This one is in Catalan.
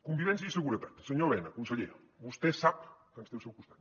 convivència i seguretat senyor elena conseller vostè sap que ens té al seu costat